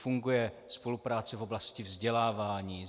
Funguje spolupráce v oblasti vzdělávání.